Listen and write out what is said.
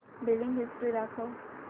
billing history दाखव